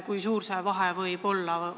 Kui suur see vahe võib olla?